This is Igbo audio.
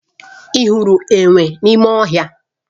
Ị hụrụ enwe n'ime ọhịa?